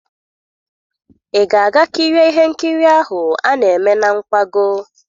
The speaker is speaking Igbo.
Ị ga-aga kirie ihe nkiri ahụ a na-eme na nkwago?